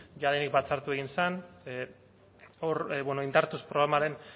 jadanik batzartu egin zen hor indartuz programaren